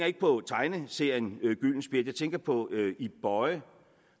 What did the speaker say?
ikke på tegneserien gyldenspjæt jeg tænker på ib boye